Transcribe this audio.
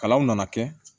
Kalanw nana kɛ